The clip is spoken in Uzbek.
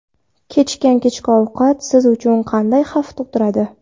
Kechikkan kechki ovqat siz uchun qanday xavf tug‘diradi?.